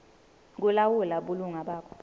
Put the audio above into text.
kulawula bulunga bakho